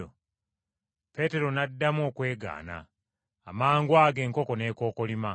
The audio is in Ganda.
Peetero n’addamu okwegaana. Amangwago enkoko n’ekookolima.